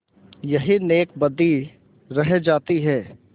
यही नेकबदी रह जाती है